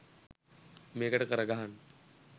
මේකට කර ගහන්න.